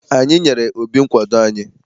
Anyị nyere Obi nkwado anyị.